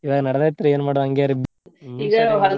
ಹ ನಡದೇತ್ರಿ ಏನ್ ಮಾಡುದ್ ಹಂಗೆ ರೀ .